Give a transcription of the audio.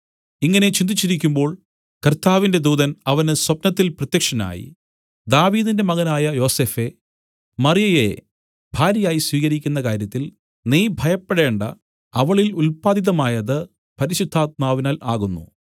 ഇങ്ങനെ ചിന്തിച്ചിരിക്കുമ്പോൾ കർത്താവിന്റെ ദൂതൻ അവന് സ്വപ്നത്തിൽ പ്രത്യക്ഷനായി ദാവീദിന്റെ മകനായ യോസഫേ മറിയയെ ഭാര്യയായി സ്വീകരിക്കുന്ന കാര്യത്തിൽ നീ ഭയപ്പെടേണ്ടാ അവളിൽ ഉല്പാദിതമായത് പരിശുദ്ധാത്മാവിനാൽ ആകുന്നു